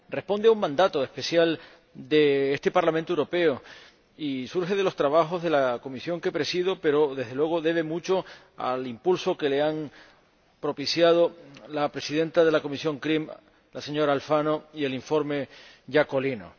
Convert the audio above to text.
Responde a un mandato especial de este Parlamento Europeo y surge de los trabajos de la comisión que presido, pero, desde luego, debe mucho al impulso que le han propiciado la presidenta de la Comisión CRIM, la señora Alfano, y el ponente Iacolino.